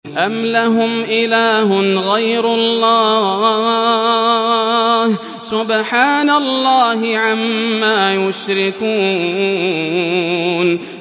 أَمْ لَهُمْ إِلَٰهٌ غَيْرُ اللَّهِ ۚ سُبْحَانَ اللَّهِ عَمَّا يُشْرِكُونَ